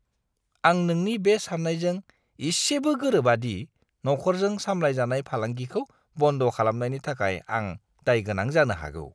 आं नोंनि बे साननायजों इसेबो गोरोबा दि नखरजों सामलायजानाय फालांगिखौ बन्द खालामनायनि थाखाय आं दायगोनां जानो हागौ।